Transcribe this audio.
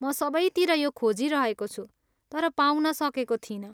म सबैतिर यो खोजिरहेको छु तर पाउन सकेको थिइनँ।